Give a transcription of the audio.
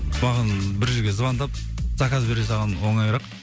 маған бір жерге звондап заказ бере салған оңайырақ